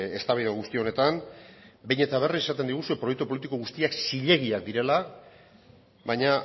eztabaida guzti honetan behin eta berriz esaten diguzu proiektu politiko guztiak zilegiak direla baina